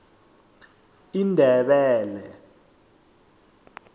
indebele